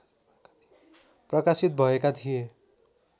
प्रकाशित भएका थिए